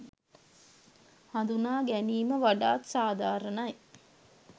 හඳුනාගැනීම වඩාත් සාධාරණයි.